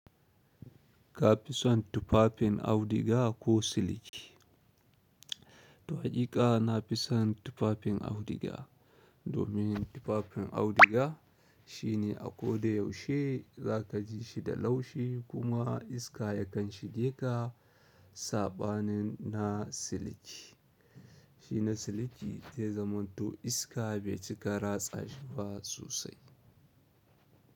Ka fi son tufafin audiga ko siliki? Tu hakiƙa na fi son tufafin auduga domin tufafin auduga shine a ko da yaushe za ka ji shi da laushi kuma iska ya kan shige ka saɓanin na siliki. Shine siliki zai zama to iska bai cika ratsa shi ba sosai.